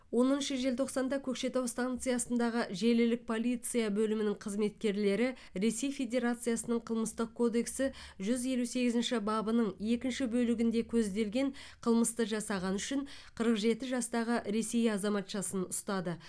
оныншы желтоқсанда көкшетау станциясындағы желілік полиция бөлімінің қызметкерлері ресей федерациясының қылмыстық кодексі жүз елу сегізінші бабының екінші бөлігінде көзделген қылмысты жасағаны үшін қырық жеті жастағы ресей азаматшасын ұстады